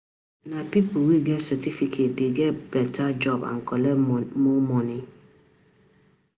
Nah people wey get certificate dey get beta job and fit collect more money.